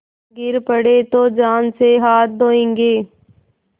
गिर पड़े तो जान से हाथ धोयेंगे